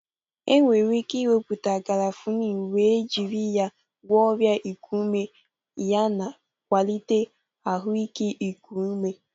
Enwere ike ịwepụta Garafuni wee ijiri ya gwọọ ọrịa iku ume yana kwalite ahụike iku ume.